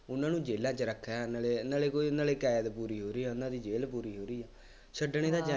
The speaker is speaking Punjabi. ਉਹਨਾ ਨੂੰ ਜੇਲਾਂ ਚ ਰੱਖ ਰਿਹਾ ਇਹਨਾ ਨੇ, ਨਾਲੇ ਕੋਈ ਉਹਨਾ ਲਈ ਕੈਦ ਪੂਰੀ ਹੋ ਰਹੀ ਉਹਨਾ ਦੀ ਜ਼ੇਲ੍ਹ ਪੂਰੀ ਹੋ ਰਹੀ ਹੈ, ਛੱਡਣੇ ਤਾਂ ਚਾਹੀਦੇ